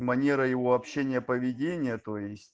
манера его общения поведения то есть